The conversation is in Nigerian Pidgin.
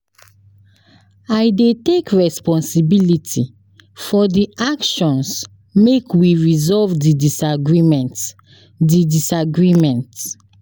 I dey take responsibility for di actions make we resolve di disagreement. di disagreement.